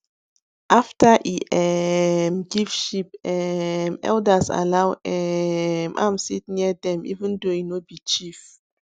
after e um give sheep um elders allow um am sit near them even though e no be chief